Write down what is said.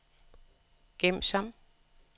gem som